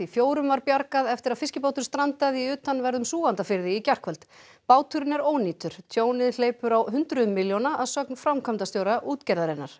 fjórum var bjargað eftir að fiskibátur strandaði í utanverðum Súgandafirði í gærkvöld báturinn er ónýtur tjónið hleypur á hundruðum milljóna að sögn framkvæmdastjóra útgerðarinnar